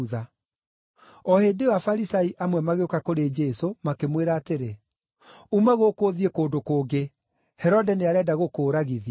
O hĩndĩ ĩyo Afarisai amwe magĩũka kũrĩ Jesũ makĩmwĩra atĩrĩ, “Uma gũkũ ũthiĩ kũndũ kũngĩ. Herode nĩarenda gũkũũragithia.”